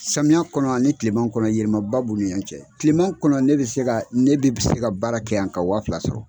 Samiya kɔnɔ ani tileman kɔnɔ yɛlɛma ba b'olu ɲɔgɔn cɛ, tileman kɔnɔ ne bɛ se ka ne bɛ se ka baara kɛ yan ka waa fila sɔrɔ.